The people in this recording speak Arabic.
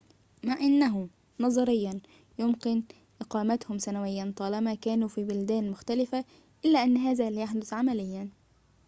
مع أنه، نظرياً، يمكن إقامتهم سنوياً طالما كانوا في بلدان مختلفة، إلا أن هذا لا يحدث عملياً